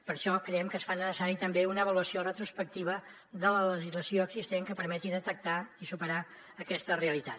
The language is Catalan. per això creiem que es fa necessària també una avaluació retrospectiva de la legislació existent que permeti detectar i superar aquesta realitat